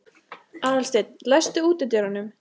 Aðalsteinn, læstu útidyrunum.